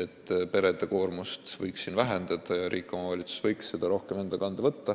et perede koormust võiks vähendada ning riik ja omavalitsus võiksid seda rohkem enda kanda võtta.